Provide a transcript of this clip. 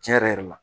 Tiɲɛ yɛrɛ la